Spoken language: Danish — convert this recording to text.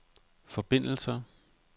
forbindelser